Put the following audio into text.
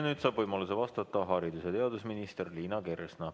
Nüüd saab võimaluse vastata haridus- ja teadusminister Liina Kersna.